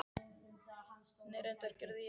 Nei reyndar gerði ég það ekki.